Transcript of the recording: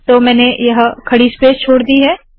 तो मैंने यह खड़ी स्पेस छोड़ दी है